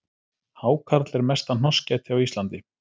Hákarl er mesta hnossgæti á Íslandi